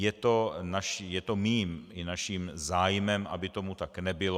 Je to mým i naším zájmem, aby tomu tak nebylo.